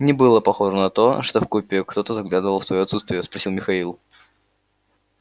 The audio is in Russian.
не было похоже на то что в купе кто-то заглядывал в твоё отсутствие спросил михаил